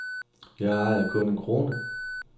Jeg ejede kun en krone.